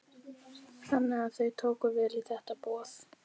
Þannig að þau tóku vel í þetta boð?